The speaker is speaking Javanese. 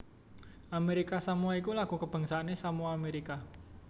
Amérika Samoa iku lagu kabangsané Samoa Amérika